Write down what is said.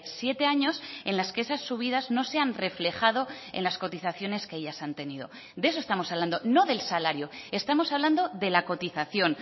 siete años en las que esas subidas no se han reflejado en las cotizaciones que ellas han tenido de eso estamos hablando no del salario estamos hablando de la cotización